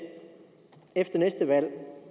efter næste valg